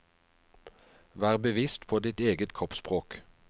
Vær bevisst på ditt eget kroppsspråk.